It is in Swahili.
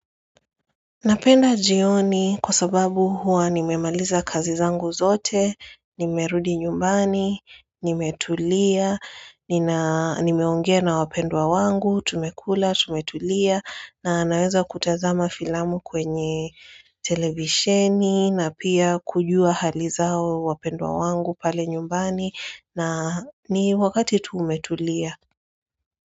Napenda jioni kwa sababu huwa nimemaliza kazi zangu zote, nimerudi nyumbani, nimetulia, nimeongea na wapendwa wangu, tumekula, tumetulia, na naweza kutazama filamu kwenye televisheni, na pia kujua halizao wapendwa wangu pale nyumbani, na ni wakati tumetulia.